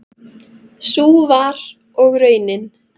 Sú var og raunin.